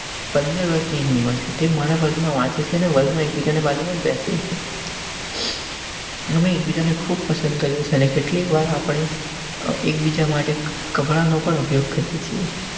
પંદર વરસ ની તેની ઉમર સાથે મારા વર્ગ માં વાંચે છે અને વર્ગ માં એક બીજા ની બાજુ માં જ બેસીએ છીએ. અમે એકબીજાને ખૂબ પસંદ કરેં છે અને કેટલીક વાર આપણે એકબીજા માટે કપડા ઉપયોગ કરીએ છીએ.